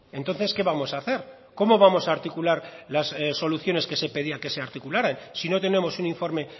entonces qué vamos a hacer cómo vamos a articular las soluciones que se pedían que se articularan si no tenemos un informe